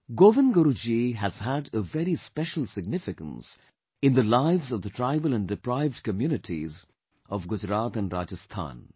Govind Guru Ji has had a very special significance in the lives of the tribal and deprived communities of Gujarat and Rajasthan